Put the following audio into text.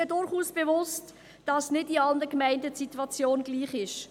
Mir ist bewusst, dass die Situation nicht in allen Gemeinden gleich ist.